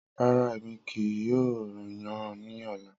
Rara, Emi kii yoo yan ni ọla.